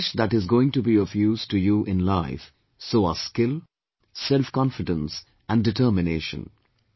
It is the knowledge that is going to be of use to you in life, so are skill, selfconfidence and determination